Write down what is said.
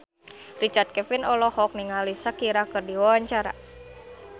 Richard Kevin olohok ningali Shakira keur diwawancara